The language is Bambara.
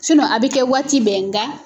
a bɛ kɛ waati bɛn nka